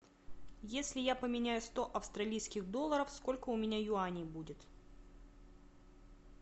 если я поменяю сто австралийских долларов сколько у меня юаней будет